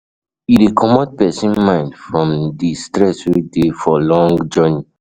E de comot persin mind from di stress wey de for long journey